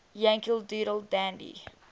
yankee doodle dandy